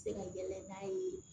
Se ka yɛlɛ n'a ye